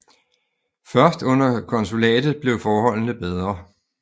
Først under konsulatet blev forholdene bedre